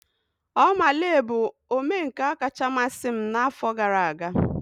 Oma Lee bụ omenka ọkacha mmasị m n'afọ gara aga.